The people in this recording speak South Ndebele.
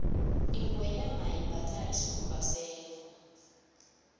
ingweenyama imbatha isikhumba sengwe